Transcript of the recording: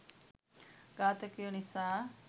ඝාතකයො නිසා..